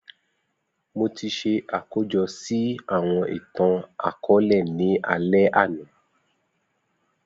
Mo ti ṣe akojọ si awọn itan-akọọlẹ ni alẹ ana